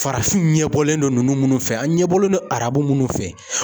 Farafin ɲɛbɔlen no ninnu munnu fɛ an ɲɛbɔlen no arabu minnu fɛ.